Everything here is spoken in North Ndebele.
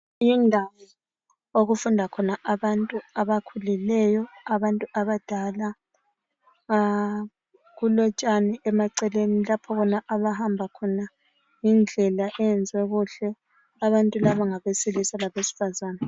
Yindawo okufunda khona abantu abakhulileyo, abantu abadala. Kulotshani emaceleni lapho abahamba khona yindlela eyenziwe kuhle, abantu laba ngabesilisa labesifazana.